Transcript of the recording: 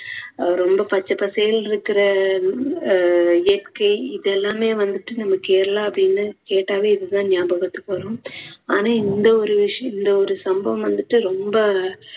ரொம்ப பச்ச பசேல்ன்னு இருக்குற அஹ் இயற்கை இதெல்லாமே வந்துட்டு நம்ம கேரளா அப்படின்னு கேட்டாவே இது தான் ஞாபகத்துக்கு வரும் ஆனா இந்த ஒரு விஷயம் இந்த ஒரு சம்பவம் வந்துட்டு ரொம்ப